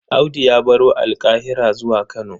Audu ya baro Alƙahira zuwa Kano.